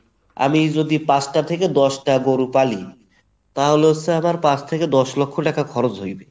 আমি যদি পাঁচটা থেকে দশটা গরু পালি তাহলে হচ্ছে আমার পাঁচ থেকে দশ লক্ষ টাকা খরচ হইবে।